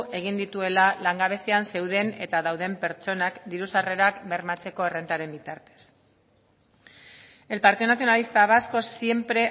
egin dituela langabezian zeuden eta dauden pertsonak diru sarrerak bermatzeko errentaren bitartez el partido nacionalista vasco siempre